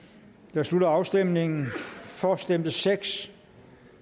jeg slutter afstemningen for stemte seks